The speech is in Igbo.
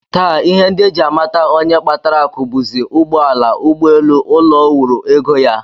Taa, ihe ndị e ji amata onye kpatara akụ bụzi ụgbọala, ụgbọelu, ụlọ o wuru, ego ya